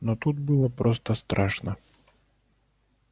но тут было просто страшно